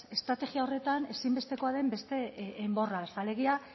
estrategia horretan ezinbestekoa den beste enborraz alegia